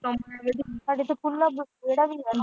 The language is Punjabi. ਸਾਡੇ ਤੇ ਖੁੱਲਾ ਵਿਹੜਾ ਵੀ ਹੈਗਾ ।